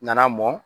Nana mɔn